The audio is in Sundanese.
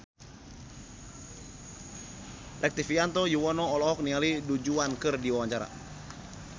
Rektivianto Yoewono olohok ningali Du Juan keur diwawancara